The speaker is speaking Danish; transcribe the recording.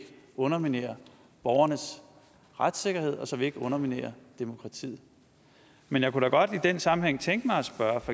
underminerer borgernes retssikkerhed og så vi ikke underminerer demokratiet men jeg kunne da godt i den sammenhæng tænke mig at spørge